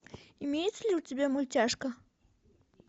имеется ли у тебя мультяшка